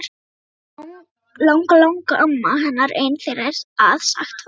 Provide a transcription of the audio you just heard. Langalangamma hennar ein þeirra að sagt var.